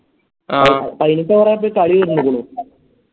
പയിനെട്ട് Over ആയപ്പെ കളി തീർന്നിക്ക്ണു